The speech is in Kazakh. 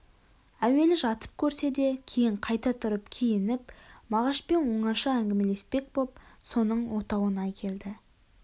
әуелі жатып көрсе де кейін қайта тұрып киініп мағашпен оңаша әңгімелеспек боп соның отауына келді